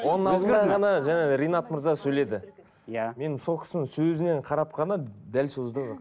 оның алдында ғана жаңағы ринат мырза сөйледі иә мен сол кісінің сөзінен қарап қана дәл сөзді